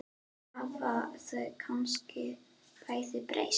Hafa þau kannski bæði breyst?